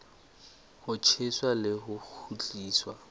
ho tjheswa le ho kgutliswa